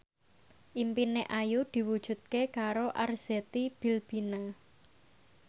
impine Ayu diwujudke karo Arzetti Bilbina